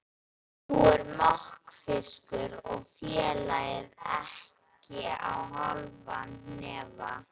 Nú er mokfiskur og félagið á ekki hálfan hnefa.